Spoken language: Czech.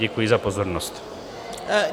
Děkuji za pozornost.